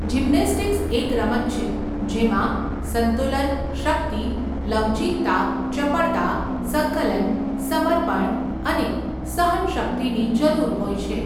Gymnastics એક રમત છે જેમાં સંતુલન, શક્તિ, લવચિકતા, ચપળતા, સંકલન, સમર્પણ અને સહનશક્તિની જરૂર હોય છે.